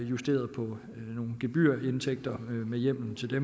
justeret på nogle gebyrindtægter med hjemmel til det